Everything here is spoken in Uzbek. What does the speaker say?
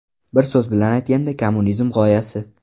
Bir so‘z bilan aytganda kommunizm g‘oyasi.